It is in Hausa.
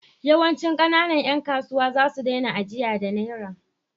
Yawancin ƙananan ƴan kasuwa za su daina ajiya da Nera.